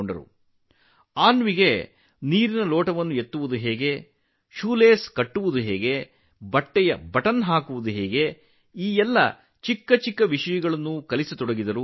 ಅವರು ಅನ್ವಿಗೆ ನೀರಿನ ಲೋಟ ಎತ್ತುವುದು ಹೇಗೆ ಶೂ ಲೇಸ್ ಕಟ್ಟುವುದು ಹೇಗೆ ಬಟ್ಟೆಗಳ ಗುಂಡಿ ಹಾಕುವುದು ಹೇಗೆ ಎಂಬಂತಹ ಸಣ್ಣ ವಿಷಯಗಳ ಬಗ್ಗೆ ಕಲಿಸಲು ಪ್ರಾರಂಭಿಸಿದರು